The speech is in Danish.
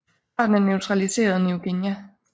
Arten er naturaliseret i New Guinea